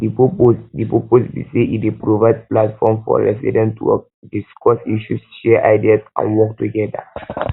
di purpose di purpose be say e dey provide platform for residents to discuss issues share ideas and work together